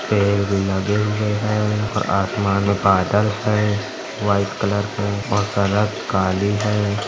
पेड़ भी लगे हुए हैं और आसमान में बादल है। व्हाइट कलर के और सड़क काली है।